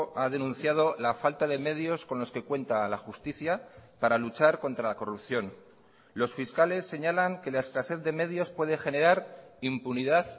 ha denunciado la falta de medios con los que cuenta la justicia para luchar contra la corrupción los fiscales señalan que la escasez de medios puede generar impunidad